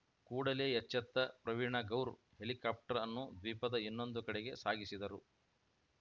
ಕೂಡಲೇ ಎಚ್ಚತ್ತ ಪ್ರವೀಣ್‌ ಗೌರ್‌ ಹೆಲಿಕಾಪ್ಟರ್‌ ಅನ್ನು ದ್ವೀಪದ ಇನ್ನೊಂದು ಕಡೆಗೆ ಸಾಗಿಸಿದರು